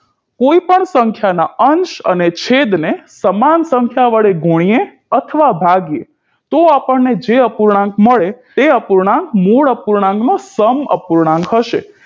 કોઈ પણ સંખ્યા ના અંશ અને છેદ ને સમાન સંખ્યા વડે ગુણીએ અથવા ભાંગીએ તો અપણને જે અપૂર્ણાંક મળે એ અપૂર્ણાંક મૂળ અપૂર્ણાંક નો સમઅપૂર્ણાંક હશે